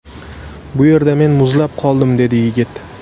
Bu yerda men muzlab qoldim”, dedi yigit.